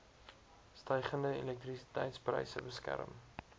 stygende elektrisiteitspryse beskerm